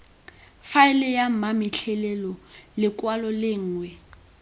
faele ya mametlelelo lekwalo lengwe